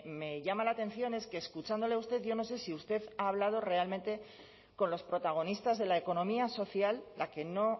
me llama la atención es que escuchándole a usted yo no sé si usted ha hablado realmente con los protagonistas de la economía social la que no